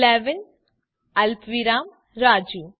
11 અલ્પવિરામ રાજુ